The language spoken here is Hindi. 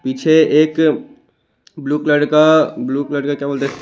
पीछे एक ब्लू कलर का ब्लू कलर का क्या बोलते?